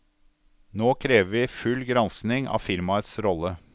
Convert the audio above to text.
Nå krever vi full granskning av firmaets rolle.